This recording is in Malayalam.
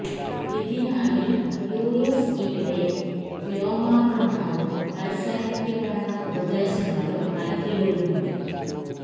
ഇതിനായി യുഎസ് ഇവിടെ വ്യോമാക്രമണവും കരസേനയ്ക്ക് വേണ്ട ഉപദേശങ്ങളും നൽകി വരുന്നുണ്ട്